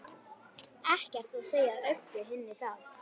Ekkert að segja Öbbu hinni það.